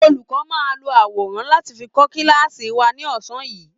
Olùkọ́ máa lo àwọrán láti fi kọ́ kíláàsì wa ní ọ̀sán yìí